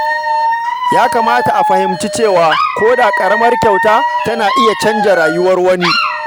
Yana da kyau a fahimci cewa ko da ƙaramar kyauta tana iya canza rayuwar wani.